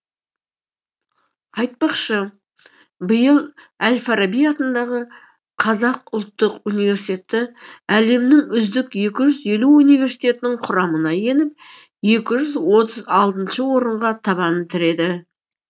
айтпақшы биыл әл фараби атындағы қазақ ұлттық университеті әлемнің үздік екі жүз елу университетінің құрамына еніп екі жүз отыз алтыншы орынға табан тіреді